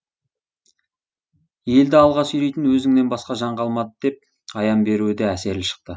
елді алға сүйрейтін өзіңнен басқа жан қалмады деп аян беруі де әсерлі шықты